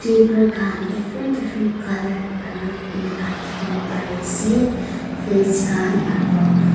paper khan different different colour aro enika dikhiwo pariase flats khan aro--